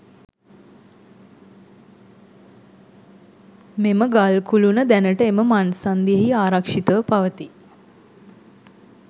මෙම ගල් කුළුණ දැනට එම මංසන්ධියෙහි ආරක්ෂිතව පවතී.